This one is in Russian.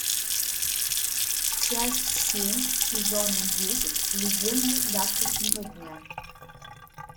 часть семь сезона десять легенды завтрашнего дня